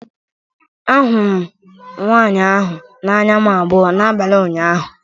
Ahụrụ m nwanyị ahụ na anya m abụọ n'abalị ụnyaahụ